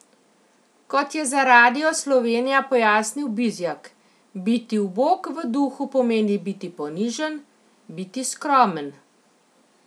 Kot je za Radio Slovenija pojasnil Bizjak: 'Biti ubog v duhu pomeni biti ponižen, biti skromen.